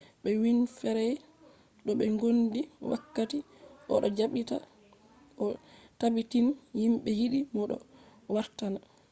be winfrey do be gondi wakkati o do jabbita o tabbitini himbe yidi mo do o wartan